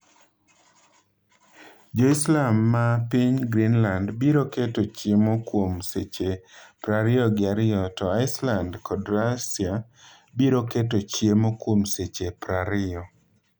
Jo Islam ma piny Greenland biro keto chiemo kuom seche prariyo gi ariyo to Iceland kod Russia biro keto chiemo kuom seche prariyo